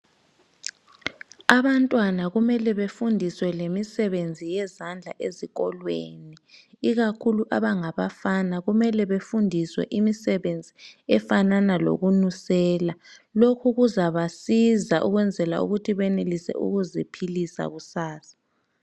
Abantwana kumelwe bafundiswe lemisebenzi yezandla ezikolweni ikakhulu abangabafana, kumele befundiswe imisebenzi efanana lokunusela lokhu kuzabasiza ukwenzela ukuthi benelise ukuziphilisa kusasa.